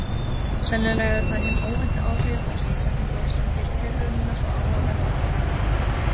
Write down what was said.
Sennilega eru það hin óvæntu áhrif af samsetningunni sem gerir tilraunina svo áhugaverða og eftirminnilega.